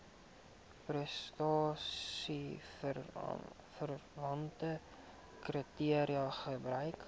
prestasieverwante kriteria gebruik